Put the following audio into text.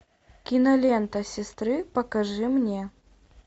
кинолента сестры покажи мне